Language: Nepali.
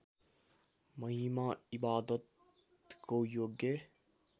महिमा इबादतको योग्य